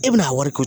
E bɛna a wari ko